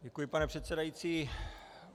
Děkuji, pane předsedající.